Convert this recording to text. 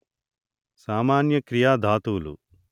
సామాన్య క్రియా ధాతువులు